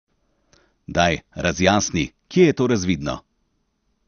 Daj, razjasni, kje je to razvidno?